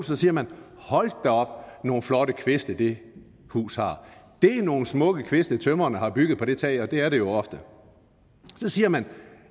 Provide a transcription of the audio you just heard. så siger man hold da op nogle flotte kviste det hus har det er nogle smukke kviste tømreren har bygget på det tag og det er det jo ofte så siger man